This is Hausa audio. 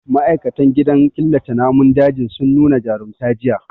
Ma'aikatan gidan killace namun dajin sun nu na jarumta jiya.